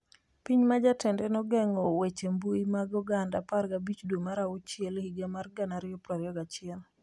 Piny ma jatende nogeng'o weche mbui mag oganda 15 dwe mar achiel higa mar 2021